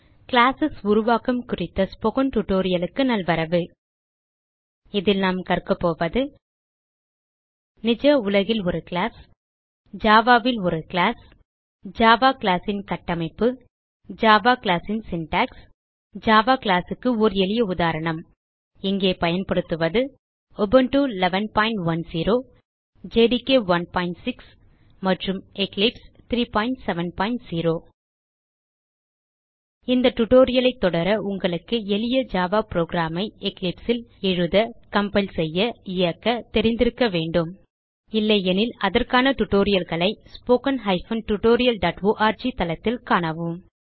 class உருவாக்கம் குறித்த spoken tutorial நல்வரவு இதில் நாம் கற்க போவது நிஜ உலகில் ஒரு கிளாஸ் Java ல் ஒரு கிளாஸ் ஜாவா கிளாஸ் ன் கட்டமைப்பு ஜாவா கிளாஸ் ன் சின்டாக்ஸ் ஜாவா கிளாஸ் க்கு ஓர் எளிய உதாரணம் இங்கே பயன்படுத்துவது உபுண்டு 1110 ஜேடிகே 16 மற்றும் எக்லிப்ஸ் 370 இந்த டியூட்டோரியல் ஐ தொடர உங்களுக்கு எளிய ஜாவா புரோகிராம் ஐ எக்லிப்ஸ் ல் எழுத கம்பைல் செய்ய இயக்க தெரிந்திருக்க வேண்டும் இல்லையெனில் அதற்கான டியூட்டோரியல் களை spoken tutorialஆர்க் தளத்தில் காணவும்